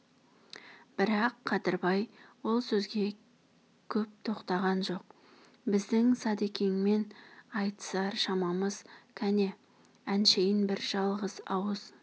бірақ қадырбай ол сөзге көп тоқтаған жоқ біздің садакеңмен айтысар шамамыз кәне әншейін бір жалғыз ауыз